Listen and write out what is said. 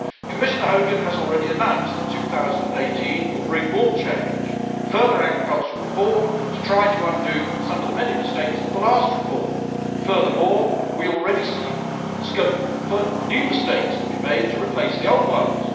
Commissioner Hogan has already announced that 2018 will bring more change, further agricultural reform to try to undo some of the many mistakes of the last reform. Furthermore, we already see scope for new mistakes to be made to replace the old ones.